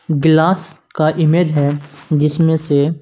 glass का image है जिसमे से --